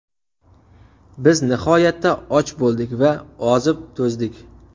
Biz nihoyatda och bo‘ldik va ozib-to‘zdik.